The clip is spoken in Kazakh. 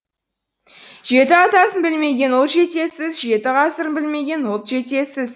жеті атасын білмеген ұл жетесіз жеті ғасырын білмеген ұлт жетесіз